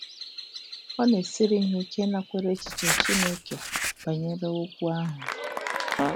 Ọ na-esiri ha ike ịnakwere echiche Chineke um banyere okwu um ahụ.